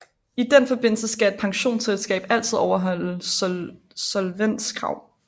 I den forbindelse skal et pensionsselskab altid overholde solvenskrav